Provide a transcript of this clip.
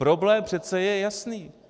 Problém přece je jasný.